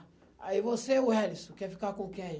Aí você, Wellington, quer ficar com quem?